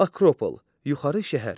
Akropol, yuxarı şəhər.